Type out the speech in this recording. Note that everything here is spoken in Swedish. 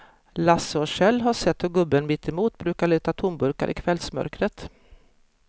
Lasse och Kjell har sett hur gubben mittemot brukar leta tomburkar i kvällsmörkret.